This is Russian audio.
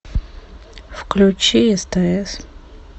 включи стс